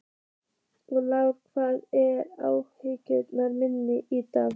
Lár, hvað er á áætluninni minni í dag?